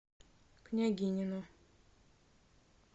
княгинино